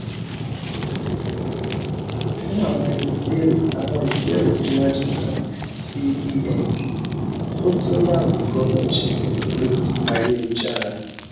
fun awọn ibeere awọn ibeere siwaju kan si ent oto laryngologist lori ayelujara